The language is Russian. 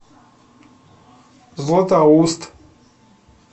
златоуст